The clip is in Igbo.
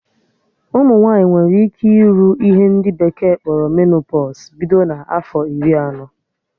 Ụmụ nwaanyị nwere ike ịrụ ihe ndị bekee kpọrọ menopọsụ bido na afọ iri anọ